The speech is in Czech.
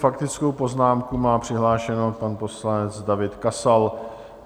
Faktickou poznámku má přihlášenou pan poslanec David Kasal.